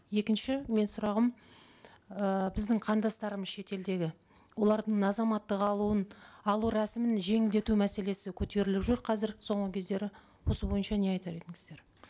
екінші менің сұрағым ы біздің қандастарымыз шетелдегі олардың азаматтық алуын алу рәсімін жеңілдету мәселесі көтеріліп жүр қазір соңғы кездері осы бойынша не айтар едіңіздер